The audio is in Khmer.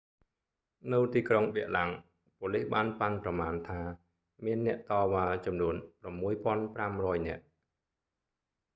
នៅទីក្រុងប៊ែរឡាំង ប៉ូលិសបានប៉ាន់ប្រមាណថា មានអ្នកតវ៉ាចំនួន 6,500 នាក់